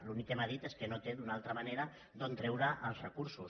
l’únic que m’ha dit és que no té una altra manera d’on treure els recursos